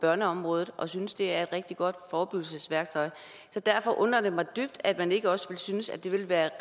børneområdet og synes at det er et rigtig godt forebyggelsesværktøj så derfor undrer det mig dybt at man ikke også synes at det vil være